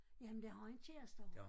Ja men det har en kæreste derovre